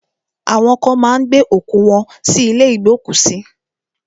Awọn kan má ń gbé òkú wọ́n sí ilé ìgbókùsí.